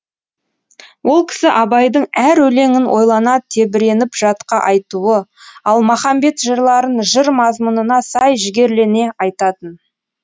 ол кісі абайдың әр өлеңін ойлана тебіреніп жатқа айтуы ал махамбет жырларын жыр мазмұнына сай жігерлене айтатын